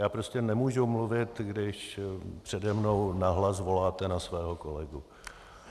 Já prostě nemůžu mluvit, když přede mnou nahlas voláte na svého kolegu.